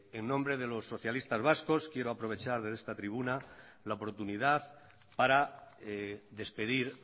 en nombre de los socialistas vascos quiero aprovechar en esta tribuna la oportunidad para despedir